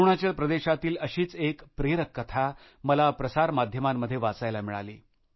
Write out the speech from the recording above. अरुणाचल प्रदेशातील अशीच एक प्रेरक कथा मला प्रसारमाध्यमांमध्ये वाचायला मिळाली